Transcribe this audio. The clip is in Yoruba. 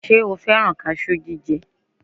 Ṣe o fẹ́rán kaṣú jíjẹ?